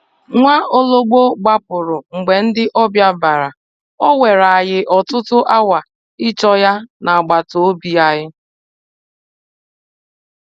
Nwaologbo gbapụrụ mgbe ndị ọbịa bịara, ọ were anyị ọtụtụ awa ịchọ ya n'agbata obi anyị.